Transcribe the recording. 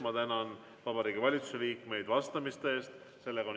Ma tänan Vabariigi Valitsuse liikmeid vastamise eest!